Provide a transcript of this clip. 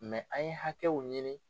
an ye hakɛw ɲini